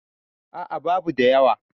a a babu da yawa